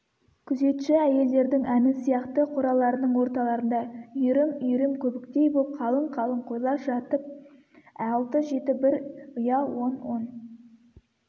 күзетші әйелдердің әні сияқты қораларының орталарында үйрім-үйрім көбіктей боп қалың-қалың қойлар жатыр алты-жеті бір ұя он-он